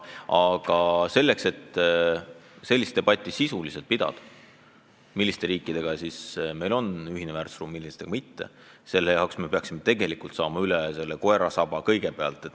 Aga et pidada sisulist debatti, milliste riikidega meil on ühine väärtusruum, millistega mitte, selleks peaksime kõigepealt koerast endast üle saama ja alles siis tema sabast.